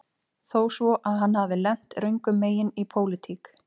Þó svo að hann hafi lent röngum megin í pólitík